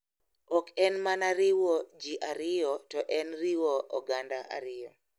Ok en mana riwo ji ariyo to en riwo oganda ariyo.